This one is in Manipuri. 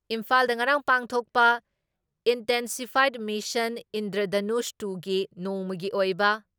ꯏꯝꯐꯥꯜꯗ ꯉꯔꯥꯡ ꯄꯥꯡꯊꯣꯛꯄ ꯏꯟꯇꯦꯟꯁꯤꯐꯥꯏꯗ ꯃꯤꯁꯟ ꯏꯟꯗ꯭ꯔꯙꯅꯨꯁ ꯇꯨꯒꯤ ꯅꯣꯡꯃꯒꯤ ꯑꯣꯏꯕ